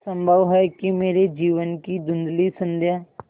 संभव है कि मेरे जीवन की धँुधली संध्या